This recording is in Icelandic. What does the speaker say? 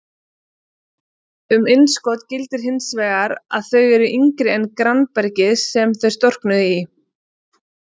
Um innskot gildir hins vegar að þau eru yngri en grannbergið sem þau storknuðu í.